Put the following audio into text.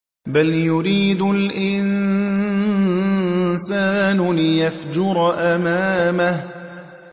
بَلْ يُرِيدُ الْإِنسَانُ لِيَفْجُرَ أَمَامَهُ